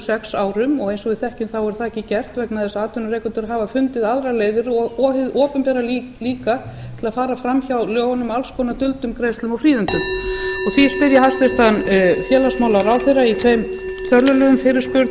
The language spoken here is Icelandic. sex árum og eins og við þekkjum þá er það ekki gert vegna þess að atvinnurekendur hafa fundið aðrar leiðir og hið opinbera líka til að fara framhjá lögunum með alls konar duldum greiðslum og fríðindum því spyr ég hæstvirtan félagsmálaráðherra í þeim fyrirspurn